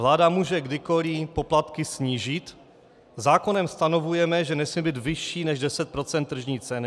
Vláda může kdykoliv poplatky snížit, zákonem stanovujeme, že nesmí být vyšší než 10 % tržní ceny.